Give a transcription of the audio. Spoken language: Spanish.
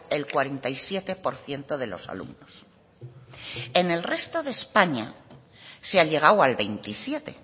el cuarenta y siete por ciento de los alumnos en el resto de españa se ha llegado al veintisiete